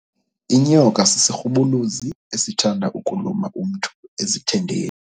Inyoka sisirhubuluzi esithanda ukuluma umntu ezithendeni.